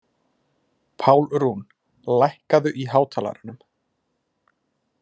Pálrún, lækkaðu í hátalaranum.